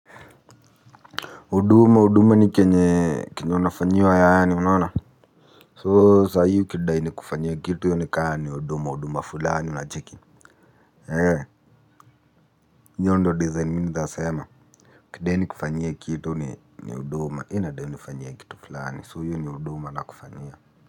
Huduma huduma ni kenye kenye unafanyiwa yaani unaona So sahiiul ukidai nikufanye kitu hio nika ni huduma huduma fulani unacheki. Hee hio ndio design mi naezasema ukidai nikufanyie kitu ni ni huduma eeh nadai unifanyie kitu fulani so hio ni huduma nakufanyia.